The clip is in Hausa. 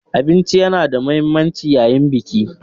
Abinci yana da mahimmanci yayin Biki.